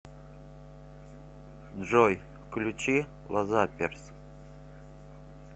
джой включи лазаперс